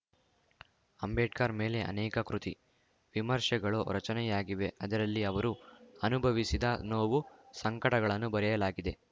ಅಂಬೇಡ್ಕರ್‌ ಮೇಲೆ ಅನೇಕ ಕೃತಿ ವಿಮರ್ಶೆಗಳು ರಚನೆಯಾಗಿವೆ ಅದರಲ್ಲಿ ಅವರು ಅನುಭವಿಸಿದ ನೋವು ಸಂಕಟಗಳನ್ನು ಬರೆಯಲಾಗಿದೆ